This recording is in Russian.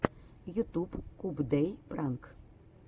ютуб кубдэй пранк